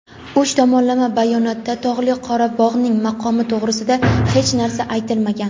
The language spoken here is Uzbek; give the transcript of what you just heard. uch tomonlama bayonotda Tog‘li Qorabog‘ning maqomi to‘g‘risida hech narsa aytilmagan.